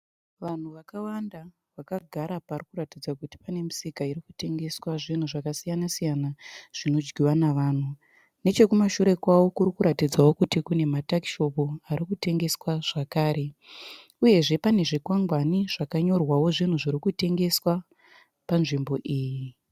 Vanhu vakawanda vakagara parikuratidza kuti pane misika irikutengswa zvinhu zvakasiyana siyana zvinodyiwa navanhu. Nechekumashure kwavo kurikuratidzao kuti kune ma takishopu aritengeswa zvakare. Uyezve pane zvikwangwani zvakanyorwao zvinhu zviri kutengeswa panzvimbo iyi.